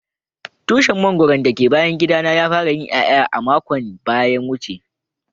tushin mangoro da le bayan gida na ya fara yin iyaya makon daya wuce.